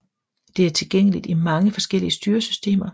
Det er tilgængeligt i mange forskellige styresystemer